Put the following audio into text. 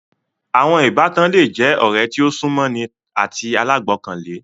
Àwọn Ìbátan le je ọ̀rẹ́ tí o sún mọ́ ni àti alágbọkàlé